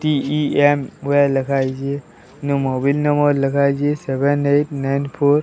TEM wire ଲେଖା ହେଇଚି mobile number ଲେଖା ହେଇଚି ସେଭେନ ଏଇଟ୍ ନାଇନ ଫୋର୍ ।